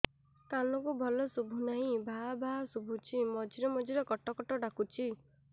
କାନକୁ ଭଲ ଶୁଭୁ ନାହିଁ ଭାଆ ଭାଆ ଶୁଭୁଚି ମଝିରେ ମଝିରେ କଟ କଟ ଡାକୁଚି